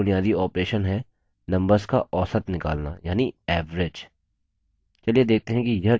spreadsheet में एक और बुनियादी operation है numbers का औसत निकलना यानि average